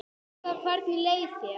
Helga: Hvernig leið þér?